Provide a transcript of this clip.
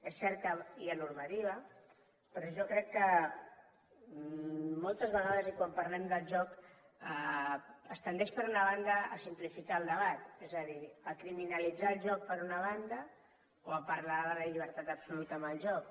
és cert que hi ha normativa però jo crec que moltes vegades i quan parlem del joc es tendeix per una banda a simplificar el debat és a dir a criminalitzar el joc per una banda o a parlar de la llibertat absoluta amb el joc